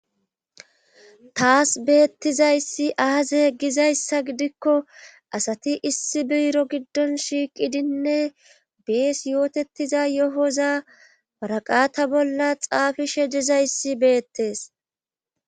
Taas beettizayssi aaze egizayssa gidikko asati issi biro giddon shiiqidinne bees yootettiza yohoza waraqata bolla xaafishe dizayssi beettees